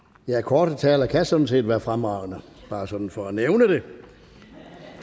ja korte taler kan sådan set være fremragende bare sådan for at nævne det